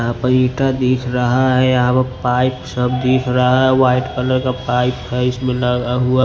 यहां पर ईटा दिख रहा है यहां पर पाइप सब दिख रहा है वाइट कलर का पाइप है इसमें लगा हुआ --